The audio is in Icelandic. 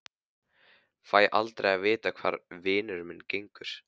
Fæ aldrei að vita hvar vinur minn gengur.